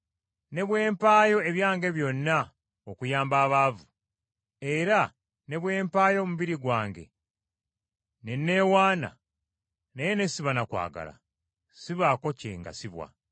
Ne bwe mpaayo ebyange byonna okuyamba abaavu, era ne bwe mpaayo omubiri gwange ne nneewaana, naye ne siba na kwagala, sibaako kye ngasibbwa.